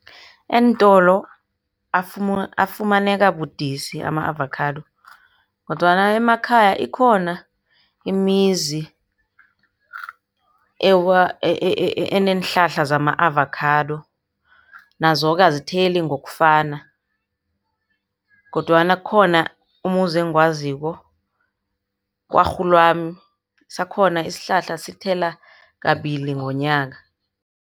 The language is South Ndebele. Eentolo afumaneka budisi ama-avocado, kodwana emakhaya ikhona imizi eneenhlahla zama-avocado. Nazo-ke azitheli ngokufana, kodwana kukhona umuzi engiwaziko, kwarhulwami. Sakhona isihlahla sithela kabili ngomnyaka.